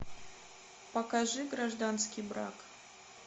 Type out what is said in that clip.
покажи гражданский брак